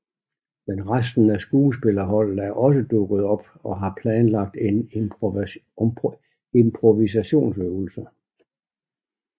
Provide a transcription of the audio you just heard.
Men resten af skuespillerholdet er også dukket op og har planlagt en improvisationsøvelse